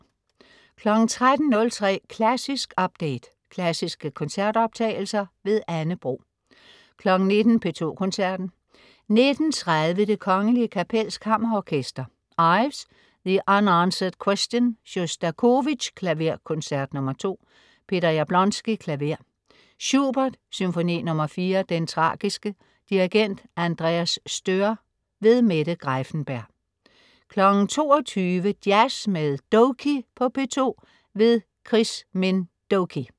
13.03 Klassisk update. Klassiske koncertoptagelser. Anne Bro 19.00 P2 Koncerten. 19.30 Det Kgl. Kapels Kammerorkester. Ives: The unanswered Question. Sjostakovitj: Klaverkoncert nr. 2. Peter Jablonski, klaver. Schubert: Symfoni nr. 4, Den tragiske. Dirigent: Andreas Stoehr. Mette Greiffenberg 22.00 Jazz med Doky på P2. Chris Minh Doky